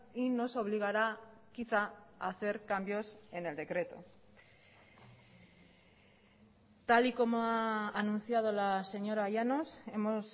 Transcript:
y nos obligará quizá a hacer cambios en el decreto tal y como ha anunciado la señora llanos hemos